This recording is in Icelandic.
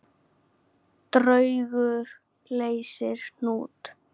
Draugur leysir hnút